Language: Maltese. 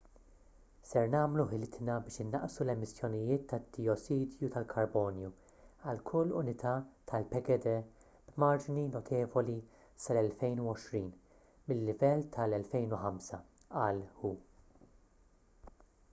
se nagħmlu ħilitna biex innaqsu l-emissjonijiet tad-dijossidu tal-karbonju għal kull unità tal-pgd b'marġni notevoli sal-2020 mil-livell tal-2005 qal hu